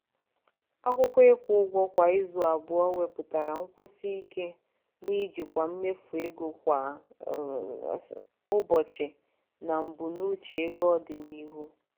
akwụkwọ ịkwụ ụgwọ kwa izu abụọ wepụtara nkwụsị ike n'ijikwa mmefu ego kwa ụbọchị na mbunuche ego ọdịnihu.